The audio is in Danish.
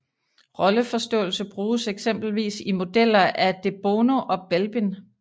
Rolleforståelse bruges eksempelvis i modeller af de Bono og Belbin